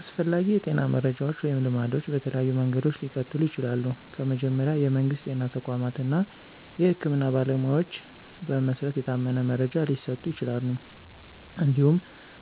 አስፈላጊ የጤና መረጃዎች ወይም ልማዶች በተለያዩ መንገዶች ሊቀጥሉ ይችላሉ። ከመጀመሪያ፣ የመንግስት ጤና ተቋማት እና የህክምና ባለሞያዎች በመሰረት የታመነ መረጃ ሊሰጡ ይችላሉ። እንዲሁም